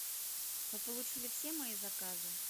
вы получили все мои заказы